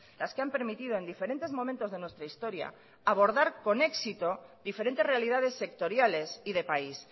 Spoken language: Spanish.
las que han permitido en diferentes momentos de nuestra historia abordar con éxito diferentes realidades sectoriales y de país